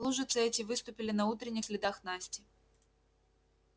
лужицы эти выступили на утренних следах насти